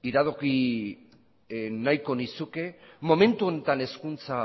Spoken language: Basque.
iradoki nahiko nizuke momentu honetan hezkuntza